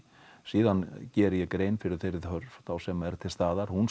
síðan geri ég grein fyrir þeirri þörf sem er til staðar hún